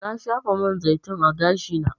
Na shafa man zaitun a gashi na.